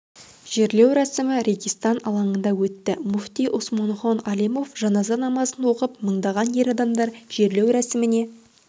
жерлеу рәсімі регистан алаңында өтті мүфти усманхон алимов жаназа намазын оқып мыңдаған ер адамдар жерлеу рәсіміне